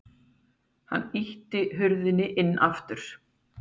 Hann ýtti hurðinni inn aftur.